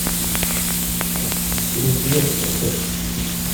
фильм вверх поставь